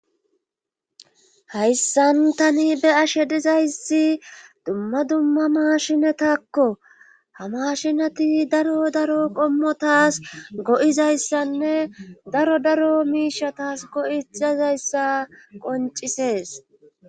hayssan tani be'ashe dizayssi dumma dumma maashinetakko ha mashinati daro daro qommo taas go'izayssanne daro daro miishatas go'izayssa qoncisees